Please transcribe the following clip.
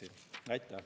Aitäh!